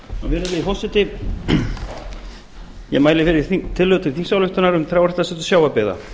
virðulegi forseti ég mæli fyrir tillögu til þingsályktunar um um trjáræktarsetur sjávarbyggða